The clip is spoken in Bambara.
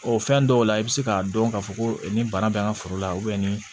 O fɛn dɔw la i bɛ se k'a dɔn k'a fɔ ko ni bana bɛ an ka foro la ni